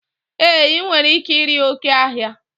E, I nwere ike iri oké ọhịa.